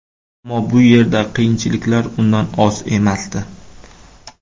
Ammo bu yerda qiyinchiliklar undan oz emasdi.